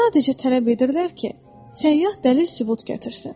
Sadəcə tələb edirlər ki, səyyah dəlil sübut gətirsin.